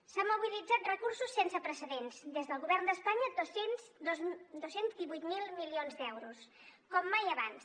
s’han mobilitzat recursos sense precedents des del govern d’espanya dos cents i divuit mil milions d’euros com mai abans